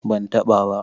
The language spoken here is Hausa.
ban ta ba ba